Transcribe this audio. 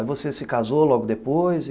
Aí você se casou logo depois e...